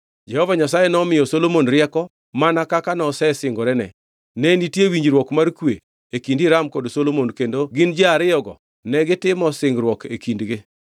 Jehova Nyasaye nomiyo Solomon rieko mana kaka nosesingorene. Ne nitie winjruok mar kwe e kind Hiram kod Solomon kendo gin ji ariyogo negitimo singruok e kindgi.